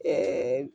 Ɛɛ